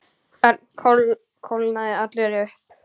Örn kólnaði allur upp.